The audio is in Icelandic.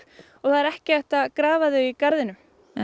og það er ekki hægt að grafa þau í garðinum